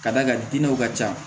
Ka d'a kan dinɛw ka ca